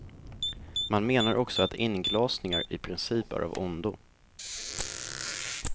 Man menar också att inglasningar i princip är av ondo.